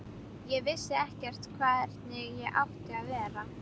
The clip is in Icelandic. Ég vissi ekkert hvernig ég átti að vera.